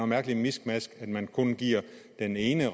mærkeligt miskmask at man kun giver den ene